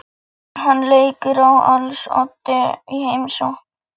Hann leikur á als oddi í heimsókninni.